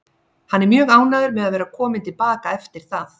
Hann er mjög ánægður með að vera kominn til baka eftir það.